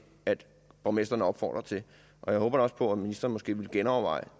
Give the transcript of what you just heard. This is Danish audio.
at borgmestrene opfordrer til og jeg håber da også på at ministeren måske vil genoverveje